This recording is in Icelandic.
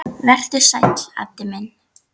Vertu sæll, Addi minn.